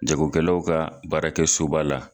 Jago kɛlaw ka baara kɛ so ba la.